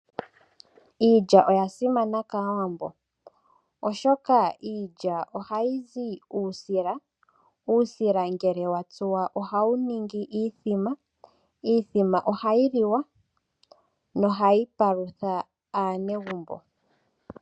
Iilya oya simana kaawambo oshoka iilya ohayi zi uusila. Uusila ngele wa tsuwa oha wu ningwa iithima. Iithima oha yi liwa noha yi palutha aanegumbo.